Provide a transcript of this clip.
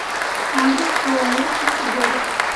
адрес ооо чистый город